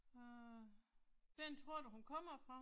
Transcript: Øh. Hvor tror du hun kommer fra?